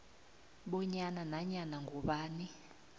bonyana nanyana ngubani